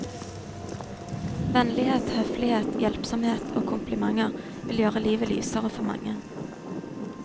Vennlighet, høflighet, hjelpsomhet og komplimenter vil gjøre livet lysere for mange.